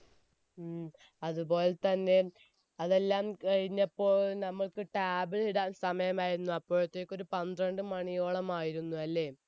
ഉം അതുപോലെ തെന്നെ അതെല്ലാം കഴിഞ്ഞപ്പോൾ നമ്മക്ക് table ഇടാൻ സമയമായിരുന്നു അപ്പോളത്തേക്ക് ഒരു പന്ത്രണ്ട് മണിയോളമായിരുന്നു അല്ലെ